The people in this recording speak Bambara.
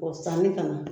O sanni ka na